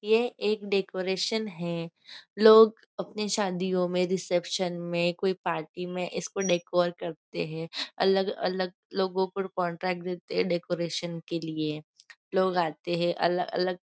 यह एक डेकोरेशन है लोग अपनी शादियों में रिसेप्शन में कोई पार्टी में इसको डेकोर करते हैं अलग अलग लोगों को कॉन्ट्रैक्ट देते हैं डेकोरेशन के लिए लोग आते हैं अलग अलग--